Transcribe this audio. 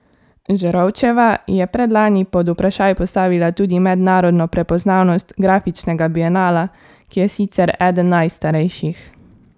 Žerovčeva je predlani pod vprašaj postavila tudi mednarodno prepoznavnost grafičnega bienala, ki je sicer eden najstarejših.